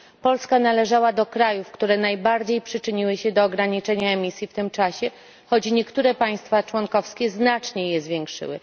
Polska należała do krajów, które najbardziej przyczyniły się do ograniczenia emisji w tym czasie, choć niektóre państwa członkowskie znacznie je zwiększyły.